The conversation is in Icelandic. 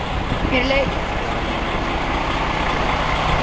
Mér leið illa innan um allan þennan bjór.